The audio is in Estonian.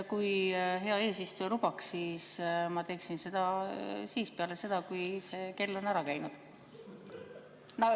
Kui hea eesistuja lubaks, siis ma teeksin seda peale seda, kui see kell on ära käinud.